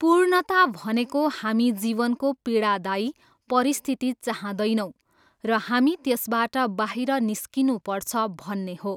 पुर्णता भनेको हामी जीवनको पीडादायी परिस्थिति चाहँदैनौँ र हामी त्यसबाट बाहिर निस्कनुपर्छ भन्ने हो।